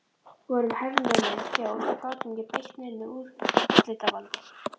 Við vorum hernumin þjóð og gátum ekki beitt neinu úrslitavaldi.